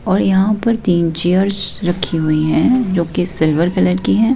और यहां पर तीन चेयर्स रखी हुई हैं जो कि सिल्वर कलर की है।